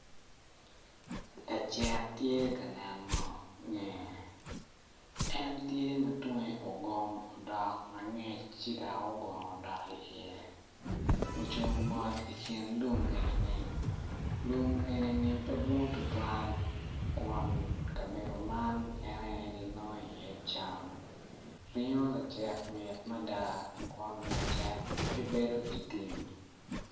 Lacek tye ka neno ngeye en tye ma tunge ogom odok angec ci dok ogono odok i iye ocung mot ikin lum enini lum eni-ni pe dwong tutwal kun kabedo man ene ginongo i iye cam ringo lacek mit mada kun lacekgibedo itim